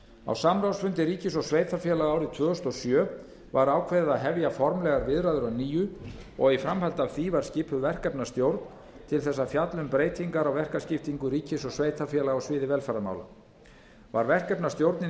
á samráðsfundi ríkis og sveitarfélaga árið tvö þúsund og sjö var ákveðið að hefja formlegar viðræður að nýju og í framhaldi af því var skipuð verkefnastjórn til að fjalla um breytingar á verkaskiptingu ríkis og sveitarfélaga á sviði velferðarmála var verkefnastjórninni